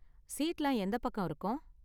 சீட்லாம் எந்த பக்கம் இருக்கும்?